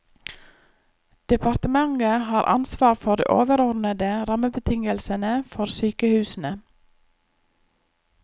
Departementet har ansvar for de overordnede rammebetingelsene for sykehusene.